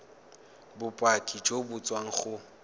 bopaki jo bo tswang go